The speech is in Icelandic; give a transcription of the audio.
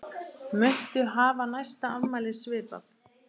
Muntu hafa næsta afmæli svipað?